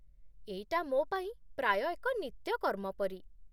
ଏଇଟା ମୋ ପାଇଁ ପ୍ରାୟ ଏକ ନିତ୍ୟକର୍ମ ପରି।